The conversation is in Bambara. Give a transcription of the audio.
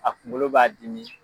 A kunkolo b'a dimi.